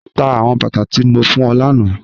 Tá awọn bátà tí mó fún ọ lána